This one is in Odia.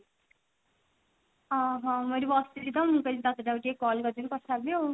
ଓଃ ହୋ ମୁଁ ଏଠି ବସିଛି ତ ମୁଁ କହିଲି ତତେ ଯାଉଛି ଟିକେ call କରି ଦେବି ତା ସହିତ ଟିକେ କଥା ହେବି ଆଉ